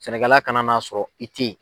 Sɛnɛkɛla kana n'a sɔrɔ i tɛ ye.